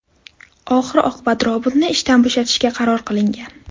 Oxir-oqibat robotni ishdan bo‘shatishga qaror qilingan.